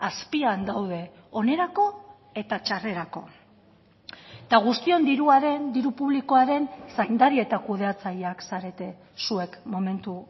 azpian daude onerako eta txarrerako eta guztion diruaren diru publikoaren zaindari eta kudeatzaileak zarete zuek momentu